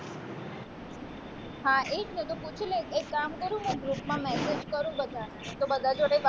હા એ જ ને તો પૂછી લેજે એક કામ કરું મેં group માં message કરું બધાને તો બધા જોડે